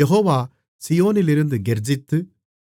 யெகோவா சீயோனிலிருந்து கெர்ச்சித்து